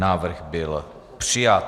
Návrh byl přijat.